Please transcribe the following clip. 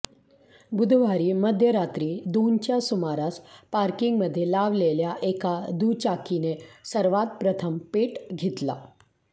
बुधवारी मध्यरात्री दोनच्या सुमारास पार्किंगमध्ये लावलेल्या एका दुचाकीने सर्वांत प्रथम पेट घेतला